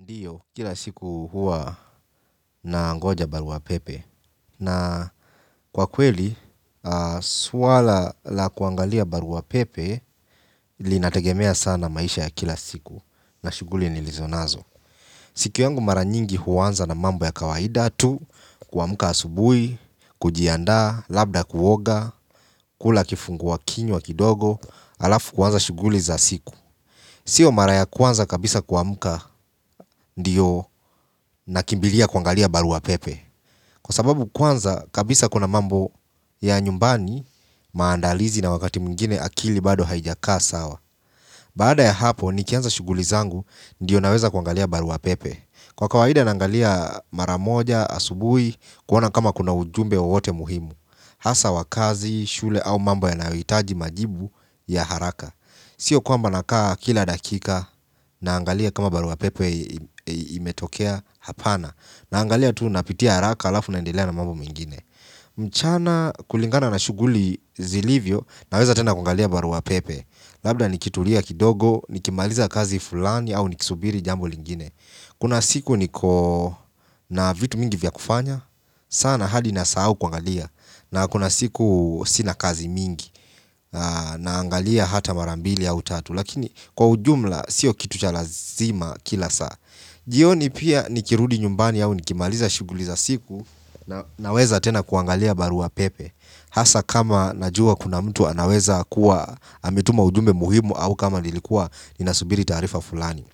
Ndiyo, kila siku huwa nangoja barua pepe na kwa kweli, swala la kuangalia barua pepe inategemea sana maisha ya kila siku na shuguli nilizonazo siku yangu mara nyingi huanza na mambo ya kawaida tu kuamka asubui, kujiandaa, labda kuoga, kula kifungua kinywa kidogo. Alafu kuanza shuguli za siku sio mara ya kwanza kabisa kuamka ndio nakimbilia kuangalia barua pepe kwa sababu kwanza kabisa kuna mambo ya nyumbani maandalizi na wakati mwingine akili bado haijakaa sawa baada ya hapo nikianza shuguli zangu ndiyo naweza kuangalia barua pepe kwa kawaida na angalia mara moja asubui kuona kama kuna ujumbe wowote muhimu hasa wa kazi, shule au mambo yanayohitaji majibu ya haraka sio kwamba nakaa kila dakika naangalia kama barua pepe imetokea hapana naangalia tu napitia haraka alafu naendelea na mambo mingine mchana kulingana na shuguli zilivyo naweza tena kuangalia barua pepe labda nikitulia kidogo nikimaliza kazi fulani au nikisubiri jambo lingine kuna siku niko na vitu mingi vya kufanya sana hadi nasahau kuangalia na kuna siku sina kazi mingi na angalia hata marambili au tatu lakini kwa ujumla sio kitu cha lazima kila saa jioni pia nikirudi nyumbani au nikimaliza shuguli za siku naweza tena kuangalia barua pepe hasa kama kuna mtu anaweza kuwa ametuma ujumbe muhimu ama kama ninasubiri taarifa fulani